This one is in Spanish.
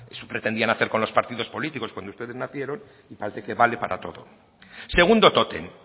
eso pretendían hacer con los partidos políticos cuando ustedes nacieron y parece que vale para todo segundo tótem